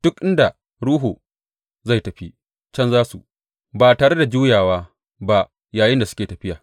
Duk inda ruhu zai tafi, can za su, ba tare da juyawa ba yayinda suke tafiya.